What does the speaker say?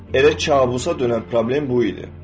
Elə kabusa dönən problem bu idi.